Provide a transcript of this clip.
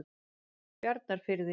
Bjarnarfirði